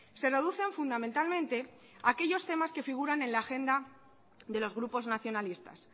se reducen fundamentalmente a aquellos temas que figuran en la agenda de los grupos nacionalistas